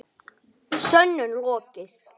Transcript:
Sönnun lokið.